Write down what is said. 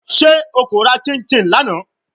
Ṣe o ko ra chinchin lana?